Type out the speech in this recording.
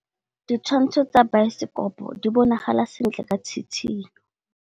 Ditshwantshô tsa biosekopo di bonagala sentle ka tshitshinyô.